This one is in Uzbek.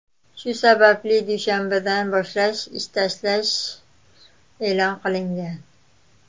Shu sababli dushanbadan boshlash ish tashlash e’lon qilingan .